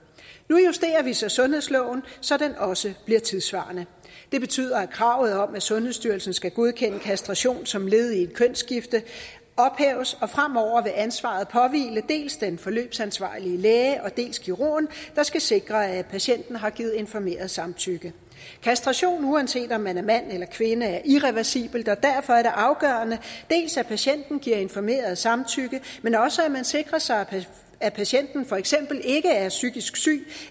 nu justerer vi så sundhedsloven så den også bliver tidssvarende det betyder at kravet om at sundhedsstyrelsen skal godkende kastration som led i et kønsskifte ophæves og fremover vil ansvaret påhvile dels den forløbsansvarlige læge og dels kirurgen der skal sikre at patienten har givet informeret samtykke kastration uanset om man er mand eller kvinde er irreversibel og derfor er det afgørende at patienten giver informeret samtykke men også at man sikrer sig at patienten for eksempel ikke er psykisk syg